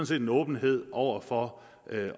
set en åbenhed over for